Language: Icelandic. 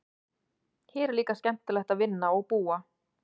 Hér er líka skemmtilegt að vinna og búa.